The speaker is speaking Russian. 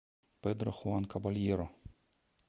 педро хуан кабальеро